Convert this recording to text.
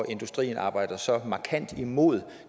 industrien arbejder så markant imod